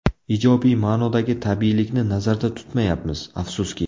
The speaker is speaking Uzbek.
Ijobiy ma’nodagi tabiiylikni nazarda tutmayapmiz, afsuski.